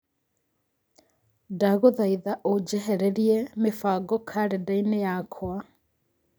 Ndagũthaitha ũnjehererie mĩbango karenda-inĩ yakwa